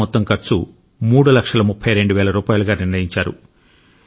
పంట మొత్తం ఖర్చు మూడు లక్షల ముప్పై రెండు వేల రూపాయలుగా నిర్ణయించారు